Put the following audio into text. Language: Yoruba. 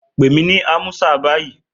Pè mí ní Amusa báyìí!